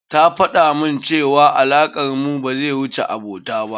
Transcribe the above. Ta faɗamun cewa alakar mu ba zai wuce abota ba.